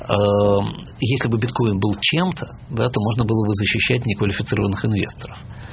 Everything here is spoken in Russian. аа если бы биткоин был чем-то да то можно было бы защищать неквалифицированных инвесторов